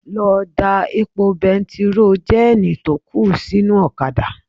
Lọ da epo bẹntiróò jẹ́ẹ̀nì tó kù sí inú ọ̀kadà